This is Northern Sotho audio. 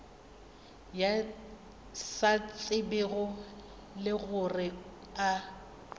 sa tsebego le gore a